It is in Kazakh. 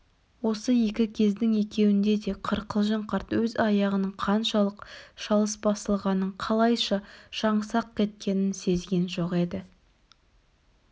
осы екі кездің екеуінде де қырқылжың қарт өз аяғының қаншалық шалыс басылғанын қалайша жаңсақ кеткенін сезген жоқ еді